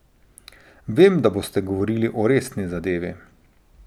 Vem, da boste govorili o resni zadevi.